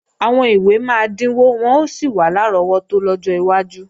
Àwọn ìwé máa dínwó wọ́n ó sì wà lárọ́wọ́tó lọ́jọ́ iwájú